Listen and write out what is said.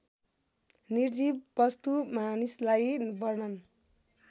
निर्जीव वस्तुमानिसलाई वर्णन